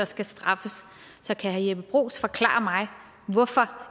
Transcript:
skal straffes kan herre jeppe bruus forklare mig hvorfor